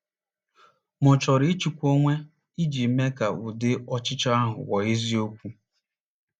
Ma ọ chọrọ ịchịkwa onwe iji mee ka ụdị ọchịchọ ahụ ghọọ eziokwu.